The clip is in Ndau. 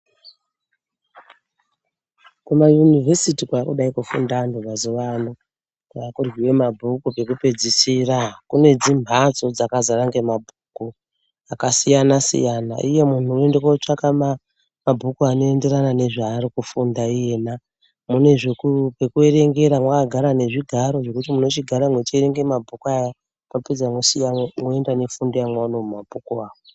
Kumayunivhesiti kwakudai kufunda antu mazuva ano kwakuryive mabhuku pekupedzisira. Kune dzimhatso dzakazara ngemabhuku akasiyana-siyana, iye muntu unoenda kotsvaka mabhuku anoenderana nezvaari kufunda iyena. Mune pekuerengera makagara nezvigaro zvekuti munochigare mechierenga mabhuku aya mwopedza mwosiyamo moenda nefundo yamaona mumabhuku avo.